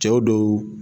Cɛw dɔw